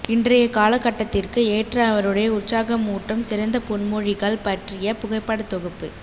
இன்றைய காலகட்டத்திற்கு ஏற்ற அவருடைய உற்சாகமூட்டும் சிறந்த பொன்மொழிகள் பற்றிய புகைப்படத்தொகுப்பு